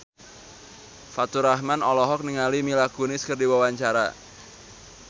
Faturrahman olohok ningali Mila Kunis keur diwawancara